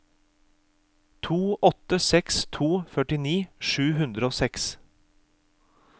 to åtte seks to førtini sju hundre og seks